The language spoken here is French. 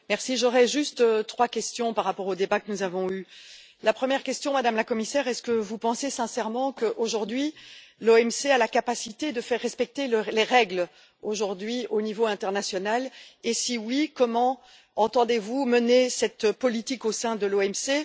Monsieur le Président, j'aurais juste trois questions par rapport au débat que nous avons eu. La première question, Madame la Commissaire est ce que vous pensez sincèrement que, aujourd'hui, l'OMC a la capacité de faire respecter les règles au niveau international et, dans l'affirmative, comment entendez vous mener cette politique au sein de l'OMC?